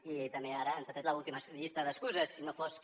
i també ara ens ha tret l’última llista d’excuses si no fos que